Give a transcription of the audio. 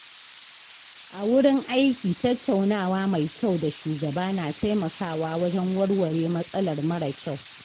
A wurin aiki tattaunawa mai kyau da shugaba na taimakawa wajen warware matsalar mara kyau.